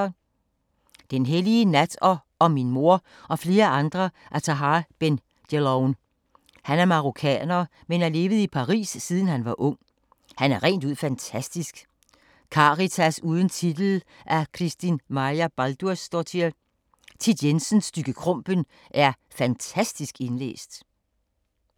Den hellige nat og Om min mor og flere andre af Tahar Ben Jelloun. Han er marokkaner, men har levet i Paris siden han var ung. Han er rent ud fantastisk. Karitas uden titel af Kristín Marja Baldursdóttir. Thit Jensens Stygge Krumpen er fantastisk indlæst.